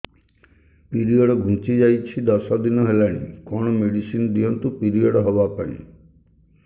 period ଘୁଞ୍ଚି ଯାଇଛି ଦଶ ଦିନ ହେଲାଣି କଅଣ ମେଡିସିନ ଦିଅନ୍ତୁ ପିରିଅଡ଼ ହଵା ପାଈଁ